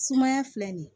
Sumaya filɛ nin ye